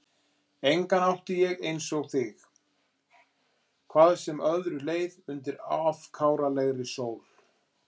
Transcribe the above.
Engan átti ég að einsog þig, hvað sem öðru leið undir afkáralegri sól.